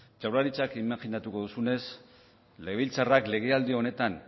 jaurlaritzak imajinatuko duzunez legebiltzarrak legealdi honetan